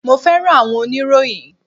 mo fẹràn awọn oniroyin